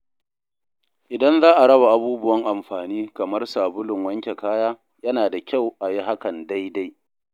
Idan za a raba abubuwan amfani kamar sabulun wanke kaya, yana da kyau a yi hakan daidai.